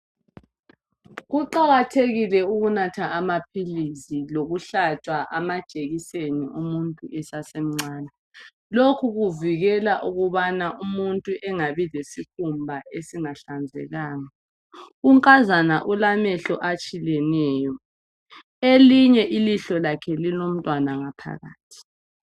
Kuqakathekile ukunatha amaphilisi lokuhlatshwa amajekiseni umuntu esasemncane. Lokhu kuvikela ukubana umuntu engabi lesikhumba esingahlazekanga. Unkazana ulamehlo atshileneyo elinye ilihlo lakhe lilomntwana ngaphakathi